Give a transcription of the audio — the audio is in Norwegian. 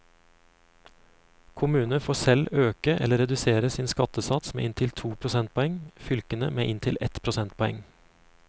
Kommuner får selv øke eller redusere sin skattesats med inntil to prosentpoeng, fylkene med inntil ett prosentpoeng.